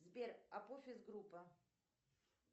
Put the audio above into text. сбер апофиз группа